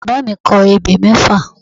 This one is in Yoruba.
Bàbá mi kọ ebè mẹ́fà